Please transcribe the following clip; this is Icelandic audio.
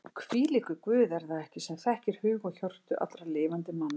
Hvílíkur Guð er það ekki sem þekkir hug og hjörtu allra lifandi manna?